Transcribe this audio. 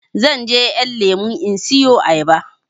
Zanje ƴan lemo in siyo ayaba